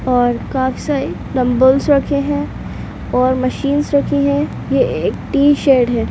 और काफी सारे डम्ब्बल्स रखे है और मशीन रखे है ये एक टी शेड है।